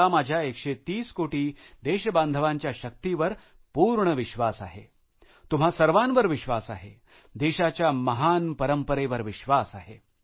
मला माझ्या 130 कोटी देशबांधवांच्या शक्तीवर पूर्ण विश्वास आहे तुम्हा सर्वांवर विश्वास आहे देशाच्या महान परंपरेवर विश्वास आहे